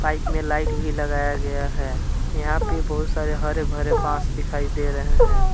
Side में light भी लगाया गया है यहां पे बहुत सारे हरे भरे बांस दिखाई दे रहे हैं।